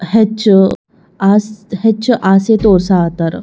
ಹೆಚ್ಚು ಆಸ್ ಹೆಚ್ಚು ಆಸೆ ತೋರ್ಸ್ ಹತ್ತರ.